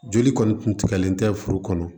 Joli kɔni kun tigɛlen tɛ furu kɔnɔ